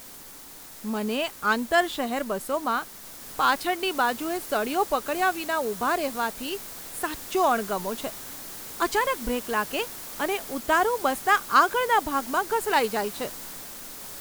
મને આંતર શહેર બસોમાં પાછળની બાજુએ સળિયો પકડ્યા વિના ઊભા રહેવાથી સાચો અણગમો છે. અચાનક બ્રેક લાગે અને ઉતારુ બસના આગળના ભાગમાં ઘસડાઈ જાય છે.